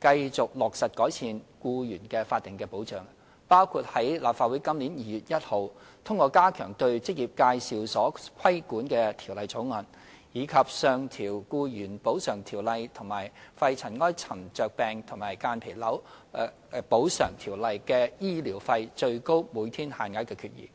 繼續落實改善僱員法定保障，包括立法會於今年2月1日通過加強對職業介紹所規管的條例草案，以及上調《僱員補償條例》及《肺塵埃沉着病及間皮瘤條例》的醫療費最高每天限額的決議。